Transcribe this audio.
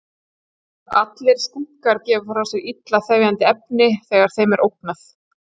Allir skunkar gefa frá sér illa þefjandi efni þegar þeim er ógnað.